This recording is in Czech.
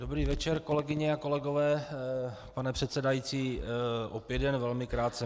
Dobrý večer, kolegyně a kolegové, pane předsedající, opět jen velmi krátce.